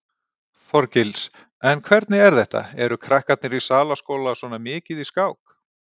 Þorgils: En hvernig er þetta, eru krakkarnir í Salaskóla svona mikið í skák?